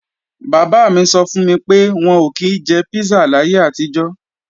Bàbá mi sọ fún mi pé, wọn ò kí jẹ písà láyé àtijọ́